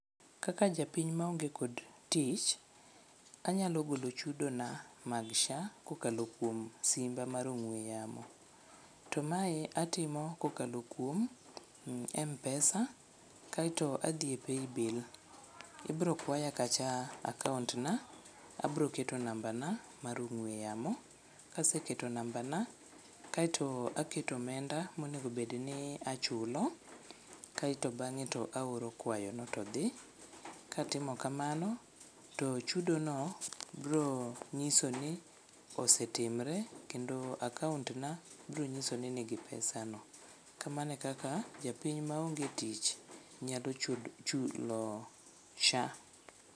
Kaka japiny maonge kod tich, anyalo golo chudona mag sha kokalo kuom simba mar ong'we yamo to mae atimo kokalo kuom mpesa kaeto adhi e paybill, ibrokwaya kacha akaontna abroketo nambana mar ong'we yamo kaseketo nambana kaeto aketo omenda monegobed ni achulo kaeto bang'e taoro kwayono to dhi. Katimo kamano to chudono brong'iso ni osetimre kendo akaontna brong'iso ni nigi pesano. Kamano e kaka japiny maonge tich nyalo chulo sha.